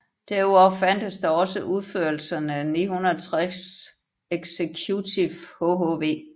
Derudover fandtes der også udførelserne 960 Executive hhv